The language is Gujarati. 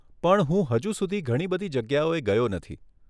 પણ હું હજુ સુધી ઘણી બધી જગ્યાઓએ ગયો નથી.